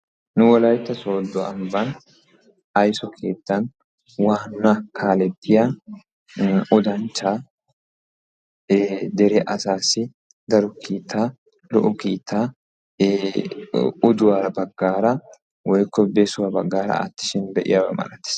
Nu wolaytta sooddo ambban aysso keettan waanna kaalettiyaa odanchcha ee dere asaassi daro kiitaa lo"o kiitaa oduwaa baggaara woykko besuwaa baggaara aattishin be'iyaaba malatees.